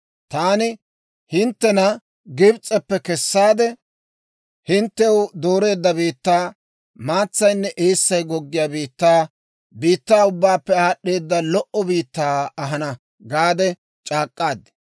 Taani hinttena Gibs'eppe kessaade, hinttew dooreedda biittaa, maatsaynne eessay goggiyaa biittaa, biittaa ubbaappe aad'd'eeda lo"o biittaa ahana gaade c'aak'k'aad.